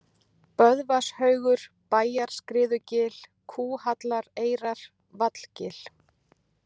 Böðvarshaugur, Bæjarskriðugil, Kúhallareyrar, Vallgil